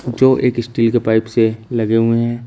जो एक इस्टील के पाइप से लगे हुए हैं।